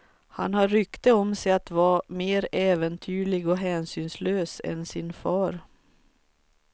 Han har rykte om sig att vara mer äventyrlig och hänsynslös än sin fader.